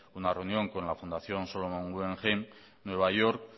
una reunión con la fundación salomón guggenheim nueva york